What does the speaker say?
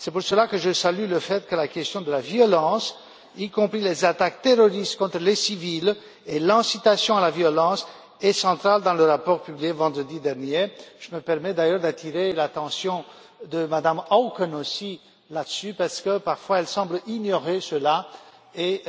C'est pourquoi je salue le fait que la question de la violence, y compris les attaques terroristes contre les civils et l'incitation à la violence, soit centrale dans le rapport publié vendredi dernier. Je me permets d'ailleurs d'attirer l'attention de Mme Auken aussi là-dessus, parce que, parfois, elle semble ignorer cela et